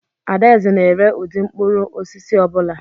Adaeze na-ere ụdị mkpụrụ osisi ọ bụla.